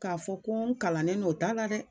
K'a fɔ ko n kalannen no o t'a la dɛ!